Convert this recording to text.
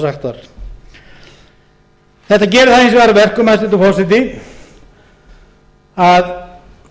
var þetta gerir það hins vegar að verkum hæstvirtur forseti að